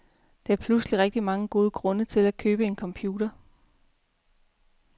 Der er pludselig rigtig mange gode grunde til at købe computer.